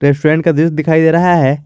Front का view दिखाई दे रहा है।